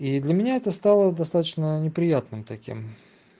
и для меня это стало достаточно неприятным таким